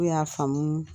N'u y'a faamu